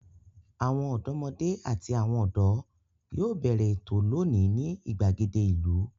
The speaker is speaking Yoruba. Àwọn ọ̀dọ́mọdé àti àwọn ọ̀dọ́ yóò bẹ̀rẹ̀ ètò lónìí ní ìgbàgede ìlú.